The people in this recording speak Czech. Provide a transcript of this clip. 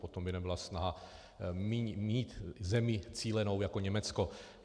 Potom by nebyla snaha mít zemi cílenou jako Německo.